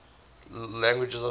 languages of syria